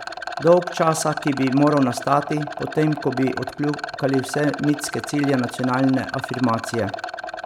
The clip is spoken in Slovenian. Dolgčasa, ki bi moral nastati, potem ko bi odkljukali vse mitske cilje nacionalne afirmacije.